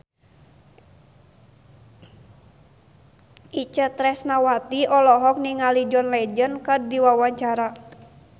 Itje Tresnawati olohok ningali John Legend keur diwawancara